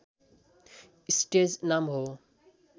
stage नाम हो